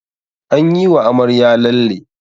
An yi wa amarya lalle